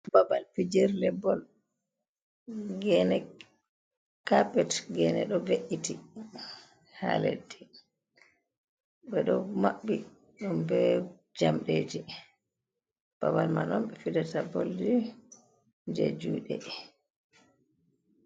Babal fijirle bol gene capet gene ɗo ve’iti ha leddi ɓe ɗo be maɓɓi ɗum be jamɗeji babal man on ɓe fijata boldi ji juɗe.